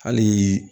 Hali